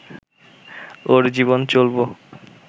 ওর জীবন চলব